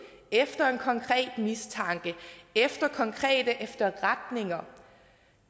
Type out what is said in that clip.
efter en konkret mistanke efter konkrete efterretninger